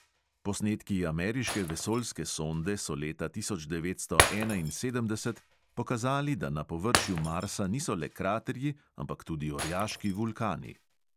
Posnetki ameriške vesoljske sonde so leta tisoč devetsto enainsedemdeset pokazali, da na površju marsa niso le kraterji, ampak tudi orjaški vulkani.